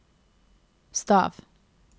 stav